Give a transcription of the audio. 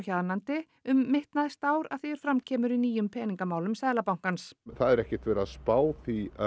hjaðnandi um mitt næsta ár að því er fram kemur í nýjum Peningamálum Seðlabankans það er ekkert verið að spá því